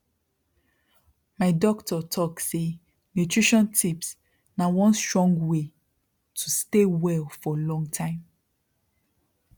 my doctor talk say nutrition tips na one strong way to stay well for long time